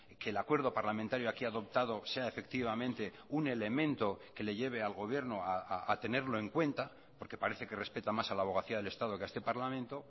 que el acuerdo parlamentario aquí adoptado sea efectivamente un elemento que le lleve al gobierno a tenerlo en cuenta porque parece que respeta más a la abogacía del estado que a este parlamento